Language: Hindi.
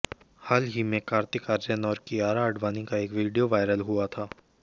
हाल ही में कार्तिक आर्यन और कियारा आडवाणी का एक वीडियो वायरल हुआ था